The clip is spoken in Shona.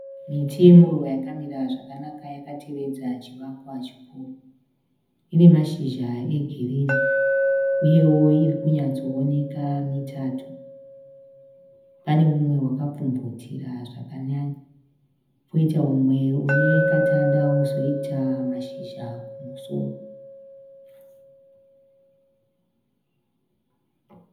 Miti yemuruva yakamira zvakanaka yakatevedza chivakwa chikuru. Ine mashizha egirini uyewo iri kunyatsooneka mitatu. Pane umwe wakapfumvutira zvakanyanya poitawo umwe une katanda woizota mashizha kumusoro.